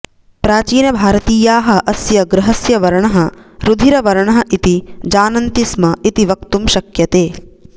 प्राचीनभारतीयाः अस्य ग्रहस्य वर्णः रुधिरवर्णः इति जानन्तिस्म इति वक्तुं शक्यते